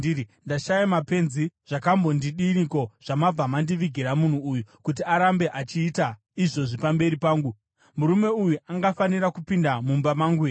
Ndashaya mapenzi zvakambodiniko zvamabva mandivigira munhu uyu kuti arambe achiita izvozvi pamberi pangu? Murume uyu angafanira kupinda mumba mangu here?”